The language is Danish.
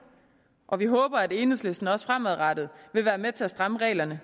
og vi håber at enhedslisten også fremadrettet vil være med til at stramme reglerne